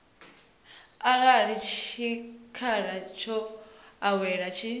arali tshikhala tsho ewaho tshi